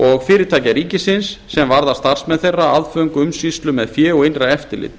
og fyrirtækja ríkisins sem varða starfsmenn þeirra aðföng umsýslu með fé og innra eftirlit